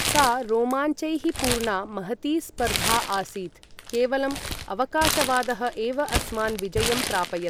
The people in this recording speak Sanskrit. सा रोमाञ्चैः पूर्णा महती स्पर्धा आसीत्, केवलम् अवकाशवादः एव अस्मान् विजयं प्रापयत्।